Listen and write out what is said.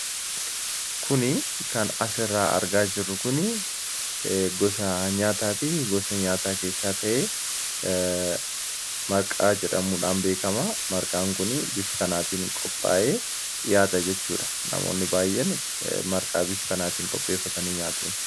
kuni kan as irraa argaa jiru kun gosa nyaataatii gosa nyaataa keessaa ta'ee marqaa jedhamuudhaan beekama marqaan kunii bif kanaatiin qophaa'ee dhihaata jechuudha namoonni baay'een marqaa bif kanaatiin qopheeffatanii nyaatun